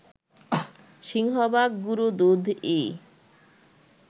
সিংহভাগ গুঁড়ো দুধই